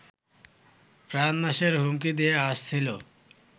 প্রাণনাশের হুমকি দিয়ে আসছিলো